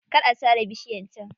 Kar a sare bishiyar can.